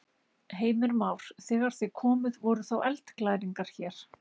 Heimir Már: Þegar þið komuð voru þá eldglæringar hér?